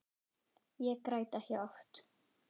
Ég græt ekki oft.